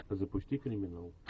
запусти криминал